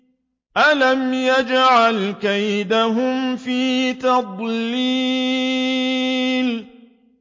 أَلَمْ يَجْعَلْ كَيْدَهُمْ فِي تَضْلِيلٍ